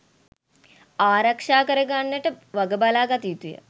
ආරක්ෂා කර ගන්නට වගබලා ගත යුතුය.